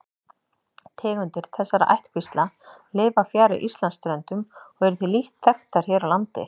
Tegundir þessara ættkvísla lifa fjarri Íslandsströndum og eru því lítt þekktar hér á landi.